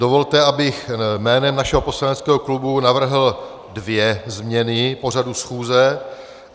Dovolte, abych jménem našeho poslaneckého klubu navrhl dvě změny pořadu schůze.